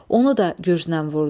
Onu da gürcünən vurdu.